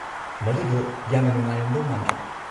ꯃꯗꯨꯗꯣ ꯌꯥꯝꯅ ꯅꯨꯡꯉꯥꯏꯔꯝꯗꯧ ꯃꯥꯟꯗ꯭ꯔꯣ?